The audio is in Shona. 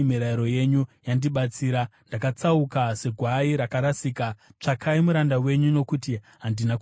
Ndakatsauka segwai rakarasika. Tsvakai muranda wenyu, nokuti handina kukanganwa mirayiro yenyu.